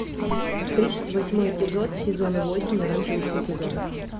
тридцать восьмой эпизод сезона восемь оранжевый хит сезона